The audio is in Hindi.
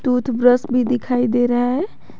टूथब्रश भी दिखाई दे रहा है।